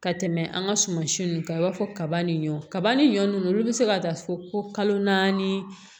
Ka tɛmɛ an ka suman si ninnu kan i b'a fɔ kaba ni ɲɔ kaba ni ɲɔ nunnu olu be se ka taa fɔ ko kalo naani